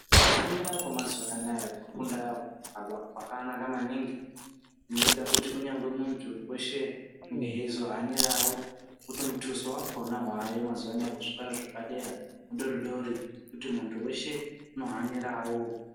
Kufunda kwemazuva anaya kufunda kwakanaka maningi zvinoita kuti kunyangwe munthu weshe unenge eizohanirao nekuti mutuso wakona waayo mazuwaano kuzvikora zvepadera mudori dori zvekuti munthu weshe unohanirao.